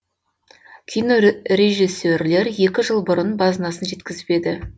кино режиссерлер екі жыл бұрын базынасын жеткізіп еді